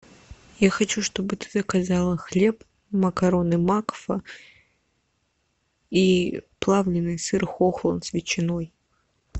я хочу чтобы ты заказала хлеб макароны макфа и плавленный сыр хохланд с ветчиной